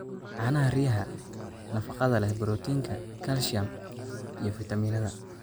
Caanaha riyaha: Nafaqada leh borotiinka, calcium, iyo fiitamiinnada.